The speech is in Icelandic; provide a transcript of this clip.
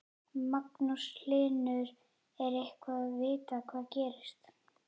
Magnús Hlynur: Er eitthvað vitað hvað gerðist?